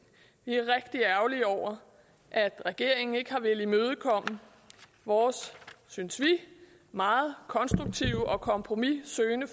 vi er rigtig ærgerlige over at regeringen ikke har villet imødekomme vores synes vi meget konstruktive og kompromissøgende